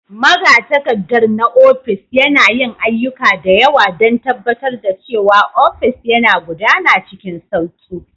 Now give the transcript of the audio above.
Magatakarda na ofis, yana yin ayyuka da yawa don tabbatar da cewa ofis yana gudana cikin sauƙi.